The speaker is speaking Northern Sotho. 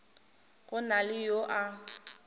go na le yo a